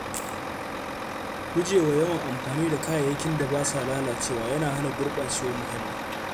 Gujewa yawan amfani da kayayyakin da ba sa lalacewa yana hana gurɓacewar muhalli.